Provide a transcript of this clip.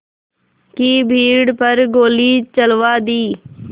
की भीड़ पर गोली चलवा दी